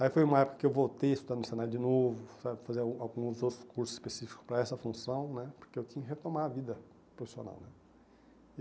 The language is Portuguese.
Aí foi uma época que eu voltei a estudar no senai de novo, sabe, fazer al alguns outros cursos específicos para essa função né, porque eu tinha que retomar a vida profissional né.